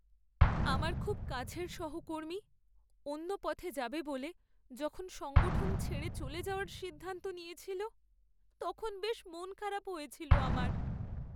আমার খুব কাছের সহকর্মী অন্য পথে যাবে বলে যখন সংগঠন ছেড়ে চলে যাওয়ার সিদ্ধান্ত নিয়েছিল, তখন বেশ মন খারাপ হয়েছিল আমার।